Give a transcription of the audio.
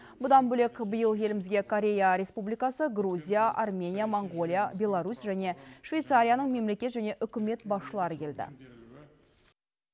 бұдан бөлек биыл елімізге корея республикасы грузия армения моңғолия беларусь және швейцарияның мемлекет және үкімет басшылары келді